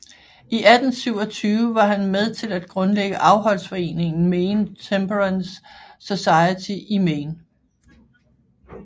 I 1827 var han med til at grundlægge afholdsforeningen Maine Temperance Society i Maine